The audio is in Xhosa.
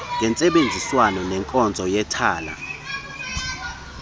ngentsebenziswano nenkonzo yethala